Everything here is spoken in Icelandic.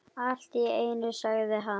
Allt í einu sagði hann